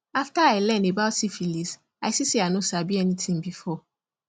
after i learn about syphilis i see say i no sabi anything before